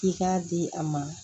I k'a di a ma